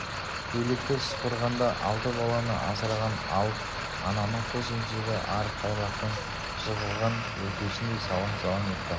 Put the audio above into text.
көйлекті сыпырғанда алты баланы асыраған алып ананың қос емшегі арық тайлақтың жығылған өркешіндей салаң-салаң етті